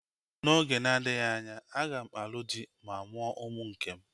N'oge na-adịghị anya, aga m alụ dị ma mụọ ụmụ nkem